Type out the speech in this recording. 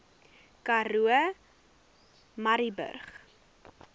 karoo murrayburg